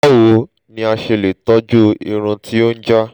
báwo ni a ṣe lè tọ́jú ìrùn tí ó ń já?